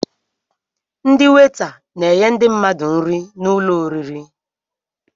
Ndị weeta na-enye ndi mmadụ nri n'ụlọ oriri